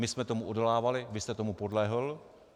My jsme tomu odolávali, vy jste tomu podlehl.